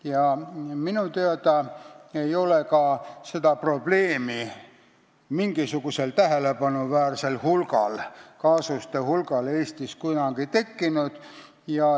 Ja minu teada ei ole ka sellist probleemi mingisugusel tähelepanuväärsel kaasuste hulgal Eestis kunagi tekkinud.